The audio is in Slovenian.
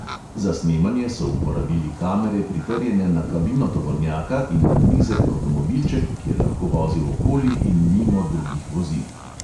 Za snemanje so uporabili kamere, pritrjene na kabino tovornjaka in na nizek avtomobilček, ki je lahko vozil okoli in mimo drugih vozil...